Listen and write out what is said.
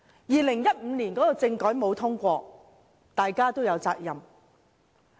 2015年的政改方案不獲通過，大家都有責任。